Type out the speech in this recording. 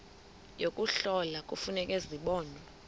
yokuhlola kufuneka zibonwe